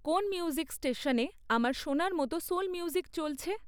কোন মিউজিক ষ্টেশনে আমার শোনার মত সোল মিউজিক চলছে?